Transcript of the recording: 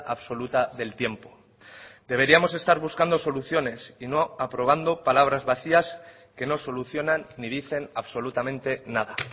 absoluta del tiempo deberíamos estar buscando soluciones y no aprobando palabras vacías que no solucionan ni dicen absolutamente nada